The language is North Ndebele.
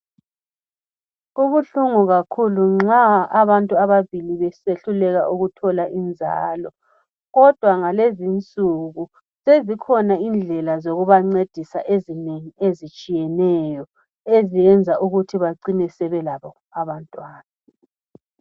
Kubuhlungu kakhulu nxa abantu ababili besehluleka ukuthola inzalo ,kodwa ngalezi insuku sezikhona indlela zokubancedisa ezinengi ezitshiyeneyo eziyenza ukuthi bacine sebelabo abantwana.